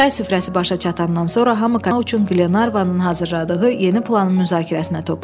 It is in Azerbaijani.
Çay süfrəsi başa çatandan sonra hamı kapitan Qrantı axtarmaq üçün Glenarvanın hazırladığı yeni planın müzakirəsinə toplashdı.